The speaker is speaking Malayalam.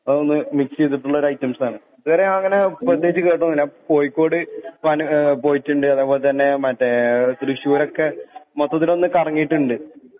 അതൊന്ന് മിക്സീത്ട്ട്ള്ളൊരയ്റ്റംസാണ് ഇത്‌വരെ അങ്ങനെ പ്രത്യേകിച്ച് കേട്ടൊന്നല്ല കോഴിക്കോട് പ്പാനെ ഏ പോയിട്ട്ണ്ട് അതെ പോലെ തന്നെ മറ്റെ തൃശൂരൊക്കെ മൊത്തത്തിലൊന്ന് കറങ്ങീട്ട്ണ്ട്